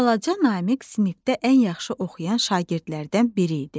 Balaca Namiq sinifdə ən yaxşı oxuyan şagirdlərdən biri idi.